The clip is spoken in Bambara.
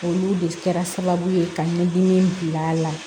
Olu de kɛra sababu ye ka ɲɛdimi bila a la